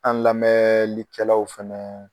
An lamɛnlikɛlaw fana